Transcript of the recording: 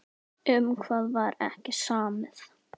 Um hvað var ekki samið?